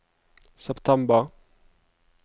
september